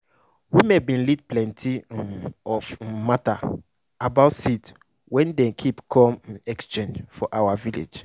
women bin lead plenti um of um matter about seed wen den keep com um exchange for our village